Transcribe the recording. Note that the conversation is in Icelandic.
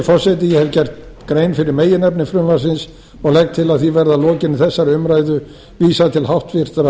forseti ég hef gert grein fyrir meginefni frumvarpsins og legg til að því verði að lokinni þessari umræðu vísað til háttvirtrar